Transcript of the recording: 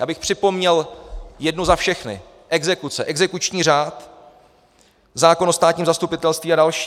Já bych připomněl jednu za všechny - exekuce, exekuční řád, zákon o státním zastupitelství a další.